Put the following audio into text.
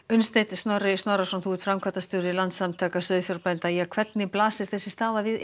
Unnsteinn Snorri Snorrason framkvæmdastjóri Landsamtaka sauðfjárbænda hvernig blasir þessi staða við